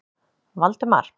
Valdemar